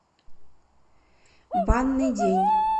банный день